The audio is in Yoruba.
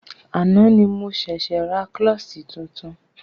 Àná ni mo ṣẹ̀ṣė ra klọ́ṣí tuntun.